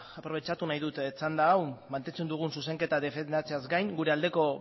aprobetxatu nahi dut txanda hau mantentzen dugun zuzenketa defendatzeaz gain gure aldeko